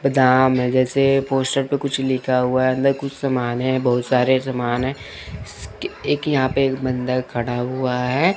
बादाम है जैसे पोस्टर पे कुछ लिखा हुआ है अंदर कुछ सामान है बहुत सारे सामान हैं एक यहां पे बंदा खड़ा हुआ है।